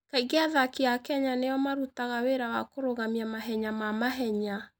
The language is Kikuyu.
Kaingĩ athaki a Kenya nĩo marutaga wĩra wa kũrũgamia mahenya ma mahenya.